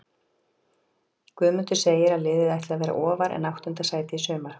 Guðmundur segir að liðið ætli að vera ofar en áttunda sæti í sumar.